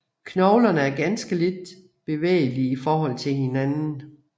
Knoglerne er ganske lidt bevægelige i forhold til hinanden